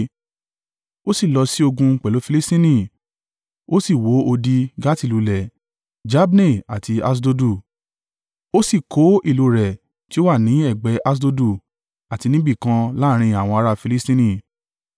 Ó sì lọ sí ogun pẹ̀lú Filistini ó sì wó odi Gati lulẹ̀, Jabne àti Aṣdodu. Ó sì kó ìlú rẹ̀ tí ó wà ní ẹ̀gbẹ́ Aṣdodu àti níbìkan láàrín àwọn ará Filistini.